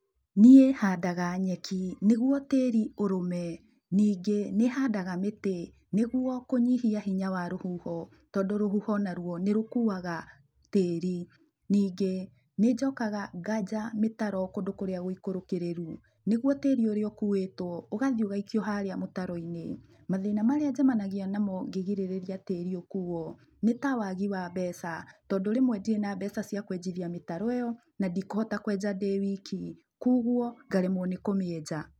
Niĩ handaga nyeki nĩguo tĩri ũrũme. Ningĩ nĩhandaga mĩtĩ nĩguo kũnyihia hinya wa rũhuho, tondũ rũhuho naruo nĩrũkuaga tĩri. Ningĩ nĩnjokaga nganja mĩtaro kũndũ kũrĩa gũikũrũkĩrĩru, nĩguo tĩri ũria ũkuĩtwo ũgathiĩ ũgaikio harĩa mũtaroinĩ. Mathĩna marĩa njemanagia namo ngĩgirĩrĩria tĩri ũkuo, nĩ ta wagi wa mbeca, tondũ rĩmwe ndirĩ na mbeca cia kũenjithia mĩtaro ĩyo, na ndikũhota kũenja ndĩ wiki, kuũguo ngaremwo nĩ kũmĩenja.